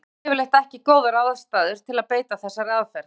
Hér á landi eru yfirleitt ekki góðar aðstæður til að beita þessari aðferð.